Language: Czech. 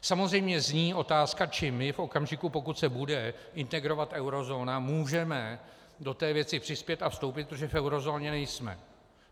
Samozřejmě zní otázka, čím my v okamžiku, pokud se bude integrovat eurozóna, můžeme do té věci přispět a vstoupit, protože v eurozóně nejsme.